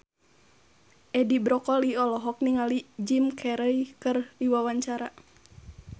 Edi Brokoli olohok ningali Jim Carey keur diwawancara